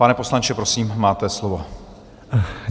Pane poslanče, prosím, máte slovo.